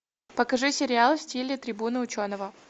покажи сериал в стиле трибуны ученого